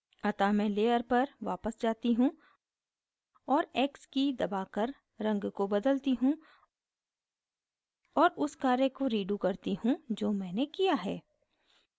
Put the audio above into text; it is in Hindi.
अतः मैं layer पर वापस जाती हूँ और x की दबाकर रंग को बदलती हूँ और उस कार्य को redo करती हूँ जो मैंने किया है